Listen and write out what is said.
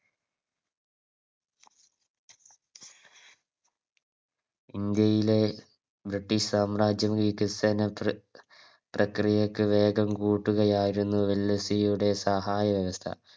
ഇന്ത്യയിലെ British സാമ്രാജ്യം വികസനം പ്ര പ്രക്രിയക്ക് വേഗം കൂട്ടുകയായിരുന്നു വെല്ലസ്സിയുടെ സഹായവ്യവസ്ഥ